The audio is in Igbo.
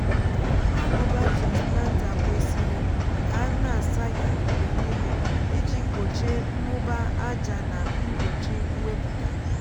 agụbá transplanter kwesịrị ka a na-asa ya mgbe niile iji gbochie mmụba aja na mgbochi mwepụta.